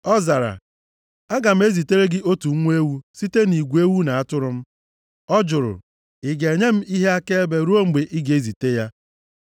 Ọ zara, “Aga m ezitere gị otu nwa ewu site nʼigwe ewu na atụrụ m.” Ọ jụrụ, “Ị ga-enye m ihe akaebe ruo mgbe ị ga-ezite ya?”